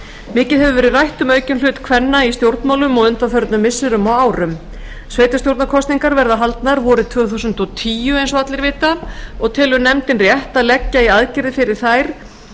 mikið hefur verið rætt um aukinn hlut kvenna í stjórnmálum á undanförnum missirum og árum sveitarstjórnarkosningar verða haldnar vorið tvö þúsund og tíu eins og allir vita og telur nefndin rétt að leggja í aðgerðir fyrir þær